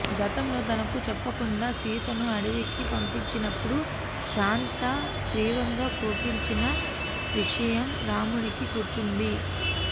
గతంలో తనకు చెప్పకుండా సీతను అడవికి పంపించినపుడు శాంత తీవ్రంగా కోపించిన విషయం రాముడికి గుర్తుంది